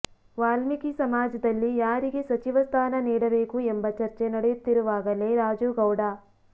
ವಾಲ್ಮೀಕಿ ಸಮಾಜದಲ್ಲಿ ಯಾರಿಗೆ ಸಚಿವ ಸ್ಥಾನ ನೀಡಬೇಕು ಎಂಬ ಚರ್ಚೆ ನಡೆಯುತ್ತಿರುವಾಗಲೇ ರಾಜು ಗೌಡ